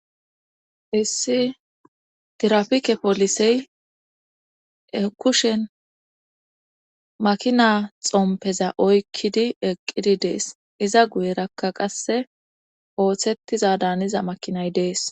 Issi tirapike polisey kushen makina xompeza oykkidi eqqidi dees iza guyerakka qasse ooththettiza daaniza makinay dees.